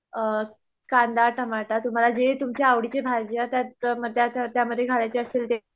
अ कांदा टमाटा तुम्हाला जे तुम्हचे आवडीचे भाज्या त्यात त्याच्यामध्ये घालायच्या असतील ते